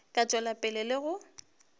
ka tšwela pele le go